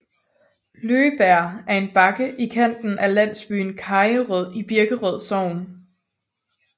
Løbjerg er en bakke i kanten af landsbyen Kajerød i Birkerød Sogn